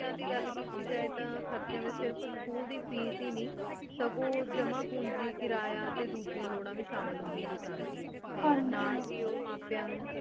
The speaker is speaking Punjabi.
ਖ਼ਰ ਚੇਯਨ ਦੇ ਘਲ ਕੀਤੀ ਜੇ ਟੀ ਖੇਰ੍ਚੇਯਨ ਵੇਚ school ਦਿਉ ਫੀਸ ਹੀ ਨੀ ਸਘੁਨ ਜਮਾਂ ਪੂੰਜੀ ਕਰਾਯਾ ਟੀ ਦੋਜੇਯਾਂ ਲੁਰਾਂ ਵੇ ਸ਼ਾਮਿਲ ਹੁੰਦੇਯਾਂ ਸਨ ਟੀ ਨਾਲ ਹੀ ਓਮਾਪੇਯਾਂ ਟੀ